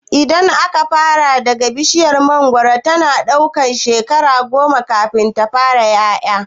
Idan aka fara daga iri, bishiyar mangoro tana iya ɗaukan shekara goma kafin ta fara ƴaƴa.